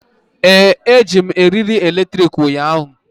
Ee, ejiri m eriri eletrik ụnyahụ.